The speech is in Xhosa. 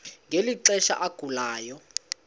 ngeli xesha agulayo